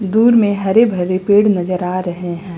दूर में हरे भरे पेड़ नजर आ रहे हैं।